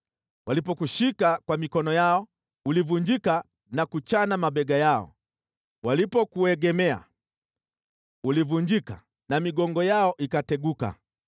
Walipokushika kwa mikono yao, ulivunjika na kuchana mabega yao; walipokuegemea, ulivunjika na migongo yao ikateguka.